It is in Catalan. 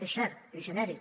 és cert és genèric